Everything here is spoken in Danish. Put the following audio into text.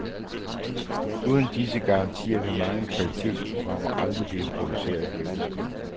Uden disse garantier vil mange kvalitetsprogrammer aldrig blive produceret, hævdes det.